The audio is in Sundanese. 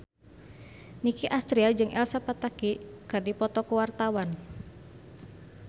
Nicky Astria jeung Elsa Pataky keur dipoto ku wartawan